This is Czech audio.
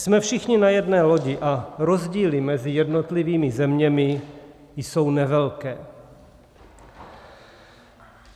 Jsme všichni na jedné lodi a rozdíly mezi jednotlivými zeměmi jsou nevelké.